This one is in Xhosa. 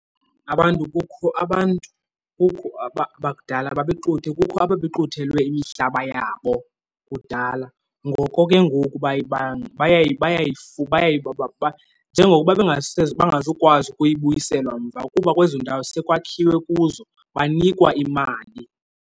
Abantu, kukho abantu, kukho bakudala babexuthe, kukho ababexuthelwe imihlaba yabo kudala. Ngoko ke ngoku njengokuba bangazukwazi ukuyibuyiselwa mva kuba kwezo ndawo sekwakhiwe kuzo, banikwa imali.